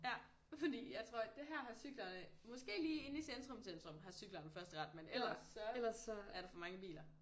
Ja fordi jeg tror det her har cyklerne måske lige inde i centrum centrum har cyklerne førsteret men ellers så er der for mange biler